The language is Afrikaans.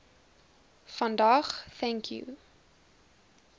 vandag thank you